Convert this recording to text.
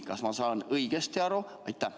Kas ma saan õigesti aru?